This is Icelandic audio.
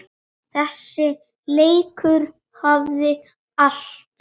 Þessi leikur hafði allt.